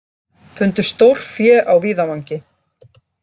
Fundu stórfé á víðavangi